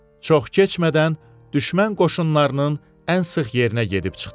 Çox keçmədən düşmən qoşunlarının ən sıx yerinə gedib çıxdı.